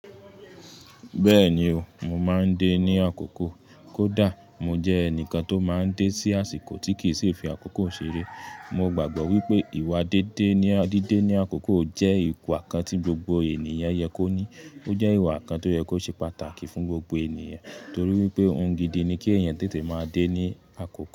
Bẹ́ẹ̀ni o, mo máa ń dé ní àkókò. Kódà mo jẹ́ ẹnìkan tó máa ń dé sí àsìkò tí kì í ṣì fi àkókò ṣeré. Mo gbàgbọ́ wípé ìwà dídé ní àkókò jẹ́ ìwà kan tí gbogbo ènìyàn yẹ kó ní. Ó jẹ́ ìwà kan tó yẹ kó ṣe pàtàkì fún gbogbo ènìyàn torí wípé ohun gidi ni kí èèyàn tètè máa dé ní àkókò.